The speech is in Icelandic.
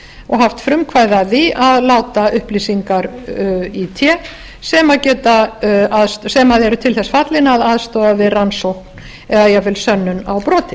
og haft frumkvæði af því að láta upplýsingar í té sem eru til þess fallnar að aðstoða við rannsókn eða jafnvel sönnun á broti